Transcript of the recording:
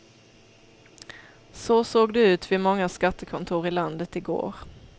Så såg det ut vid många skattekontor i landet i går.